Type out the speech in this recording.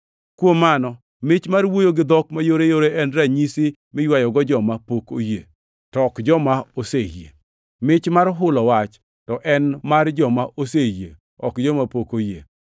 Kuom mano, mich mar wuoyo gi dhok mayoreyore en ranyisi miywayogo joma pok oyie, to ok joma oseyie. Mich mar hulo wach to en mar joma oseyie ok joma pok oyie.